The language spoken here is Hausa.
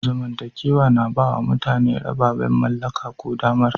Zamantakewa na ba wa mutane rababen mallaka ko damar.